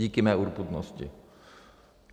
Díky mé urputnosti.